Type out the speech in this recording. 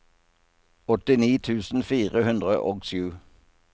åttini tusen fire hundre og sju